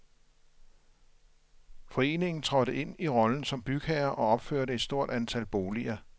Foreningen trådte ind i rollen som bygherre og opførte et stort antal boliger.